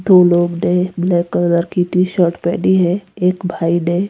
दो लोग ने ब्लैक कलर की टीशर्ट पहनी है एक भाई ने--